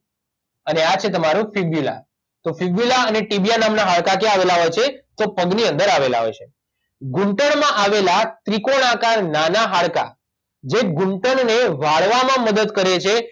અને આ છે તમારૂં ફીબ્યુલા તો ફીબ્યુલા અને ટીબીયા નામના હાડકાં ક્યાં આવેલા હોય છે તો પગની અંદર આવેલા હોય છે ઘૂંટણમાં આવેલા ત્રિકોણ આકાર નાના હાડકાં જે ઘૂંટણને વાળવામાં મદદ કરેેેેે છે